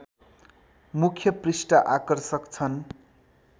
मुख्य पृष्ठ आकर्षक छन्